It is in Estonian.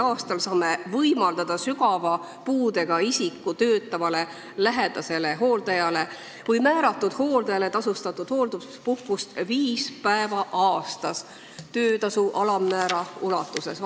a saame võimaldada sügava puudega isiku töötavale lähedasele hooldajale või määratud hooldajale tasustatud hoolduspuhkust viis päeva aastas töötasu alammäära ulatuses.